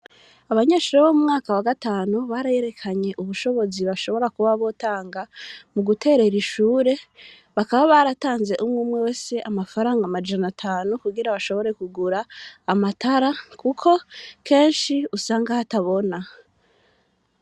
Abanyeshure bo mu mwaka wa gatanu, barerekanye ubushobozi bashobora kuba botanga, mu guterera ishure; bakaba baratanze umwe umwe wese amafaranga amajana atanu, kugira bashobore kugura amatara, kuko kenshi usanga hatabona.